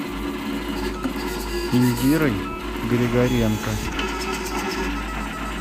индирой григоренко